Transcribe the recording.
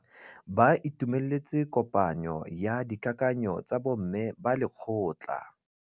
Ba itumeletse kôpanyo ya dikakanyô tsa bo mme ba lekgotla.